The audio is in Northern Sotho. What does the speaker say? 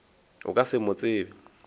o ka se mo tsebe